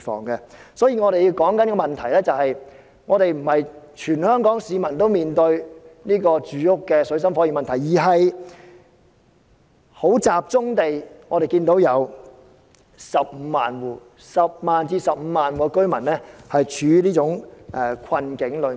因此，我們探討的問題，並非全港市民均在住屋上面對水深火熱的問題，而是我們要集中地看，有10萬至15萬戶居民正處於這種困境中。